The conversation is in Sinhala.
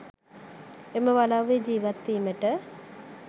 එම වලව්වේ ජීවත් වීමට